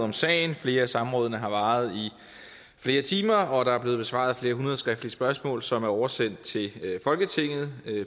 om sagen og flere af samrådene har varet i flere timer og der er blevet besvaret flere hundrede skriftlige spørgsmål som er oversendt til folketinget